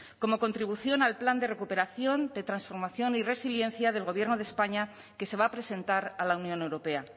como contribución al plan de recuperación de transformación y resiliencia del gobierno de españa que se va a presentar a la unión europea